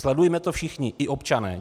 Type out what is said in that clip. Sledujme to všichni, i občané.